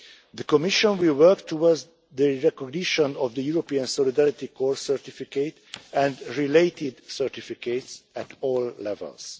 The Commission will work towards the recognition of the European Solidarity Corps certificate and related certificates at all levels.